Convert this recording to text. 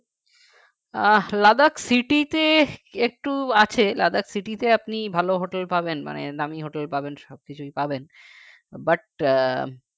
আহ Ladakhcity তে একটু আছে Ladakhcity তে আপনি ভালো hotel পাবেন মানে দামি hotel পাবেন সবকিছুই পাবেন but আহ